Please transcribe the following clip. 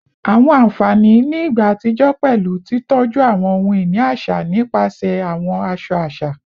Awọn anfani ni igba atijọ pẹlu titọju awọn ohun-ini aṣa nipasẹ awọn aṣọ aṣa